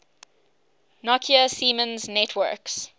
nokia siemens networks